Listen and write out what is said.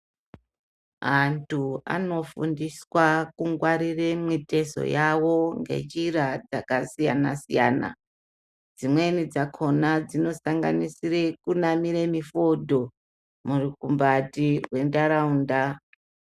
Antu anofundiswa kungwarire mitezo yavo ngenjira dzakasiyana-siyana. Dzimweni dzakona dzinosanganisire kunamire mifodho murukumbati rwentaraunta.